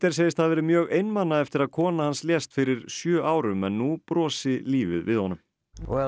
segist hafa verið mjög einmana eftir að kona hans lést fyrir sjö árum en nú brosi lífið við honum og